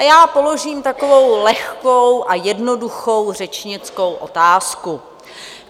A já položím takovou lehkou a jednoduchou řečnickou otázku.